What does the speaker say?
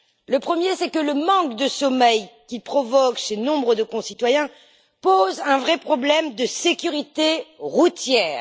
Le premier, c'est que le manque de sommeil qu'il provoque chez nombre de concitoyens pose un vrai problème de sécurité routière.